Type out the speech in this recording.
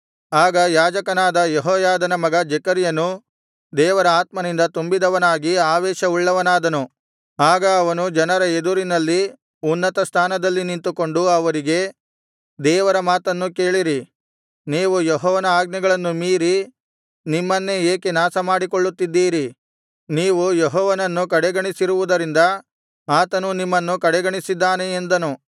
ಆಗ ಯಾಜಕನಾದ ಯೆಹೋಯಾದನ ಮಗ ಜೆಕರ್ಯನು ದೇವರ ಆತ್ಮನಿಂದ ತುಂಬಿದವನಾಗಿ ಆವೇಶ ಉಳ್ಳವನಾದನು ಆಗ ಅವನು ಜನರ ಎದುರಿನಲ್ಲಿ ಉನ್ನತ ಸ್ಥಾನದಲ್ಲಿ ನಿಂತುಕೊಂಡು ಅವರಿಗೆ ದೇವರ ಮಾತನ್ನು ಕೇಳಿರಿ ನೀವು ಯೆಹೋವನ ಆಜ್ಞೆಗಳನ್ನು ಮೀರಿ ನಿಮ್ಮನ್ನೆ ಏಕೆ ನಾಶಮಾಡಿಕೊಳ್ಳುತ್ತಿದ್ದೀರಿ ನೀವು ಯೆಹೋವನನ್ನು ಕಡೆಗಣಿಸಿರುವುದರಿಂದ ಆತನೂ ನಿಮ್ಮನ್ನು ಕಡೆಗಣಿಸಿದ್ದಾನೆ ಎಂದನು